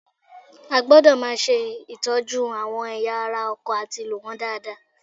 A gbọdọ̀ máa ṣe ìtọ́jú àwọn ẹ̀yà ara ọkọ̀ àti lò wọ́n dáadáa